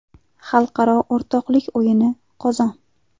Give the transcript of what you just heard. Xalqaro o‘rtoqlik o‘yini Qozon.